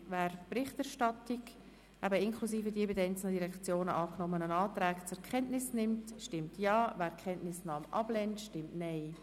Wer die Berichterstattung inklusive die von den einzelnen Direktionen angenommenen Anträge zur Kenntnis nimmt, stimmt Ja, wer die Kenntnisnahme ablehnt, stimmt Nein.